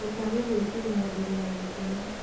Ndũkage gwĩkinya mbere ya gũkoma